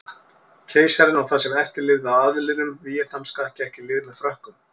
Keisarinn og það sem eftir lifði af aðlinum víetnamska gekk í lið með Frökkum.